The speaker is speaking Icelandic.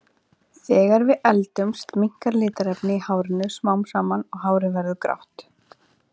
Þegar við eldumst minnkar litarefnið í hárinu smám saman og hárið verður því grátt.